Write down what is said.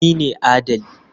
Ni ne adali.